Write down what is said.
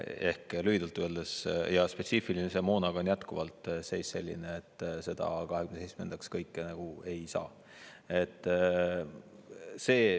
Ehk lühidalt öeldes, spetsiifilise moonaga on jätkuvalt seis selline, et seda 2027. aastaks kõike ei saa.